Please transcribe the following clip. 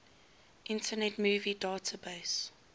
internet movie database